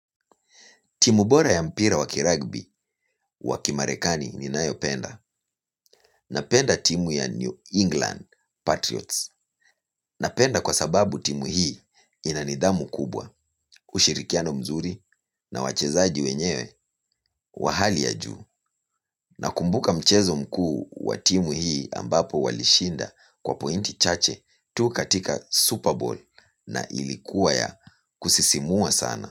Timu bora ya mpira wakiragbi wakimarekani ninayopenda. Napenda timu ya New England Patriots. Napenda kwa sababu timu hii inanidhamu kubwa, ushirikiano mzuri na wachezaji wenyewe wahali ya juu. Nakumbuka mchezo mkuu wa timu hii ambapo walishinda kwa pointi chache tu katika Super Bowl na ilikuwa ya kusisimua sana.